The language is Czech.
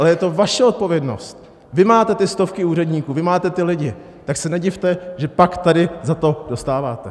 Ale je to vaše odpovědnost, vy máte ty stovky úředníků, vy máte ty lidi, tak se nedivte, že pak tady za to dostáváte.